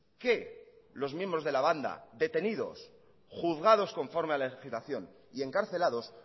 que lo miembros de la banda detenidos juzgados con forma de legislación y encarcelados